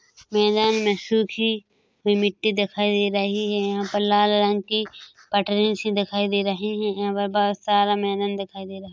मैदान में सुखी हुई मिट्टी दिखाई दे रही है यहाँ पर लाल रंग की पटरी सी दिखाई दे रही है यहाँ पे बहुत सारा मैदान दिखाई दे रहा है।